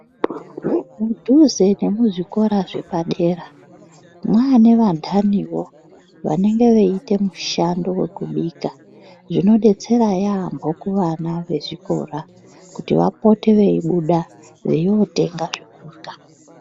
Dhuze nemuzvikora zvepadera, manevandhani wo, vanenge veyita mushando wekubika. Zvinodetsera yambo kuvana vezvikora, kuti vapote veyibuda veyotenga zvekuga.